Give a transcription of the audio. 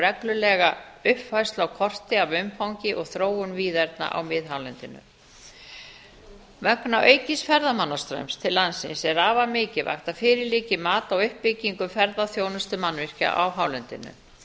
reglulega uppfærslu á korti af umfangi og þróun víðerna á miðhálendinu vegna aukins ferðamannastraums til landsins er afar mikilvægt að fyrir liggi mat á uppbyggingu ferðaþjónustumannvirkja á hálendinu